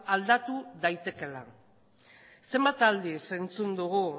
aldatu daitekeela zenbat aldiz entzun dugu